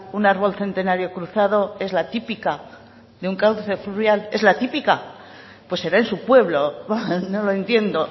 un árbol centenario cruzado es la típica de un cauce fluvial es la típica pues será en su pueblo no lo entiendo